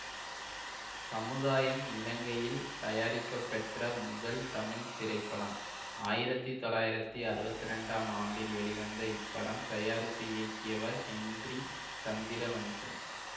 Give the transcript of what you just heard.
சமுதாயம் இலங்கையில் தயாரிக்கப்பெற்ற முதல் தமிழ் திரைப்படம் ஆயிரத்தி தொள்ளாயிரத்தி அறுபத்தி ரெண்டாம் ஆண்டில் வெளிவந்த இப்படம் தயாரித்து இயக்கியவர் ஹென்றி சந்திரவன்சன்